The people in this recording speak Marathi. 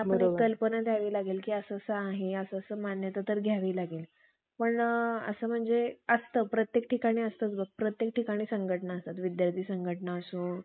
विटाळाचा रावबाजीच्या मजलीशी, अखेरीस अधी~ अधिभैरव रागांच्या आरंभएतर सर्व ब्राम्हणाच्या